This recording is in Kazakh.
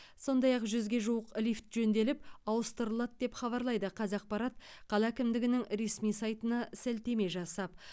сондай ақ жүзге жуық лифт жөнделіп ауыстырылады деп хабарлайды қазақпарат қала әкімдігінің ресми сайтына сілтеме жасап